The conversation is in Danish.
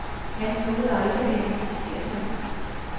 Han nåede aldrig at identificere sig.